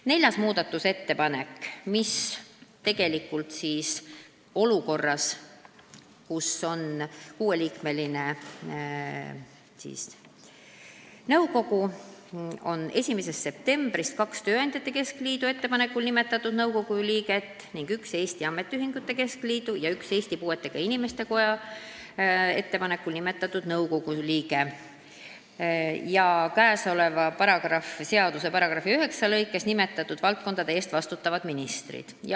Neljas muudatusettepanek reguleerib olukorda, kus on 6-liikmeline nõukogu: 1. septembrist on nõukogus kaks Eesti Tööandjate Keskliidu ettepanekul nimetatud liiget, üks Eesti Ametiühingute Keskliidu ja üks Eesti Puuetega Inimeste Koja ettepanekul nimetatud liige ja kõnealuse seaduse § 9 lõikes nimetatud valdkondade eest vastutavad ministrid.